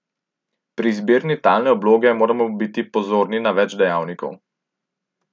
Pri izbiri talne obloge moramo biti pozorni na več dejavnikov.